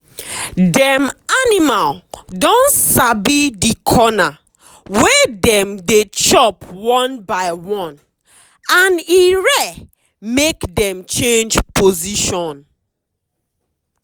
dem animal don sabi the corner wey dem dey chop one by one and e rare make dem change position.